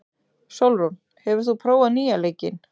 Sólrún, hefur þú prófað nýja leikinn?